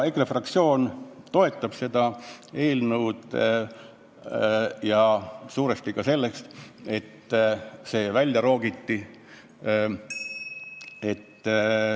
EKRE fraktsioon toetab seda eelnõu ja suuresti ka sellepärast, et siit osa välja roogiti.